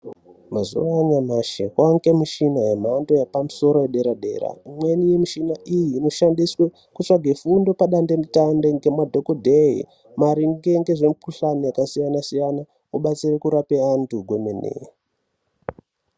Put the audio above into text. Mazuva anyamashi kwane mishina yemhando yepamusoro yedera dera imweni mishina iyi inoshandiswe kutsvage fundo padandemutande ngemadhokodheyi maringe ngezvemikuhlani yakasiyana siyana kubatsirwa kurape antu kwemene.